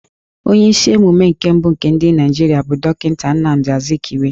Onye isi ala emume nke mbụ nke Naijirịa bụ Dọkịnta Nnamdi Azkiwe